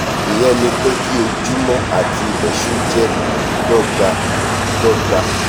ìyẹn ni pé kí ojúmọ́ àti ilẹ̀ṣú jẹ́ dọ́gba-dọ́gba